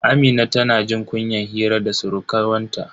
Amina tana jin kunyan hira da surkuwanta.